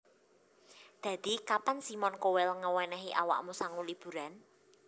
Dadi kapan Simon Cowell ngewenehi awakmu sangu liburan